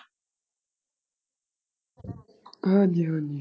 ਹਾਂਜੀ ਹਾਂਜੀ।